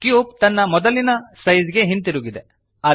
cube ತನ್ನ ಮೊದಲಿನ size ಗೆ ಹಿಂದಿರುಗಿದೆ